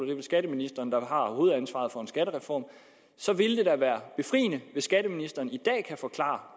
vel skatteministeren der har hovedansvaret for en skattereform og så vil det da være befriende hvis skatteministeren i dag kan forklare